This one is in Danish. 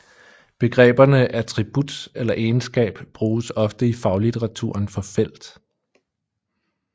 Begreberne attribut eller egenskab bruges ofte i faglitteraturen for felt